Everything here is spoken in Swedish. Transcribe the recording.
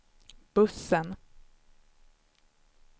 bussen